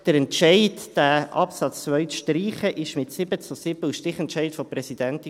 Der Entscheid, den Absatz 2 zu streichen, fiel mit 7 zu 7 Stimmen und mit dem Stichentscheid der Präsidentin.